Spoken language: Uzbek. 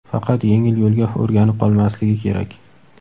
faqat yengil yo‘lga o‘rganib qolmasligi kerak.